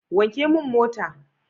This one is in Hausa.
Wanke mun mota!